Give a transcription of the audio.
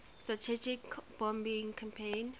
strategic bombing campaign